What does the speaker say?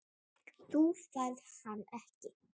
Þú færð hann ekki.